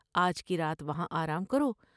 آج کی رات وہاں آرام کرو ۔